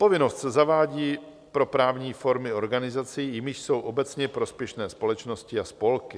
Povinnost se zavádí pro právní formy organizací, jimiž jsou obecně prospěšné společnosti a spolky.